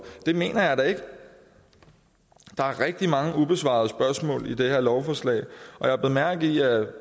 det mener jeg ikke der er rigtig mange ubesvarede spørgsmål i det her lovforslag og jeg bed mærke i at